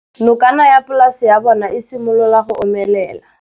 Nokana ya polase ya bona, e simolola go omelela.